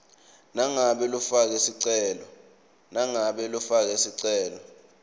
nangabe lofake sicelo